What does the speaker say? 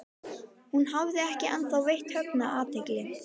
Hún hafði ekki ennþá veitt Högna athygli.